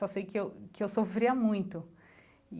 Só sei que eu que eu sofria muito e.